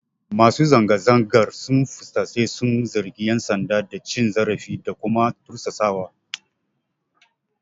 Masu zanga-zangar sun fusata sun zargi ƴan sanda da cin zarafi da kuma tursasawa.